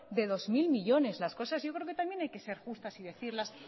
de dos mil millónes las cosas yo creo que también hay que ser justas y decirlas